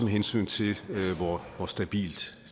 hensyn til hvor stabilt